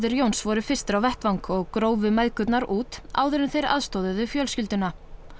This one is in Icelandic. Jóns voru fyrstir á vettvang og grófu mæðgurnar út áður en þau aðstoðuðu fjölskylduna